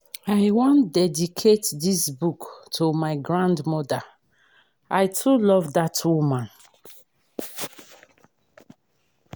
i wan dedicate dis book to my grandma. i too love dat woman